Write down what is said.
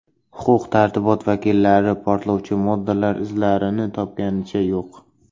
Huquq-tartibot vakillari portlovchi moddalar izlarini topganicha yo‘q.